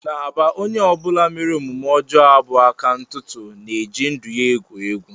N'Aba onye ọ bụla mere omume ọjọọ a bụ aka ntụtụ na-eji ndụ ya egwu egwu